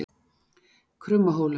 Krummahólum